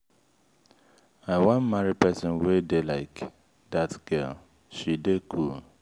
i wan marry person wey dey like dat girl she dey cool.